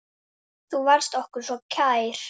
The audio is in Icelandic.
Megi betri eyrun vinna.